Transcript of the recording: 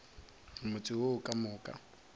motse wo ka moka o